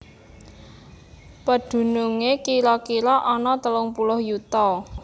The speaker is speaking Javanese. Pedhunungé kira kira ana telung puluh yuta